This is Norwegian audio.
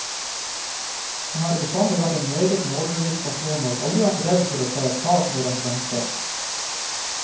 Han har bestandig vært en meget målbevisst person og aldri vært redd for å ta et tak når han trengtes.